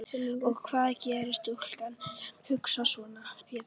Og hvað gerir stúlka sem hugsar svona Pétur?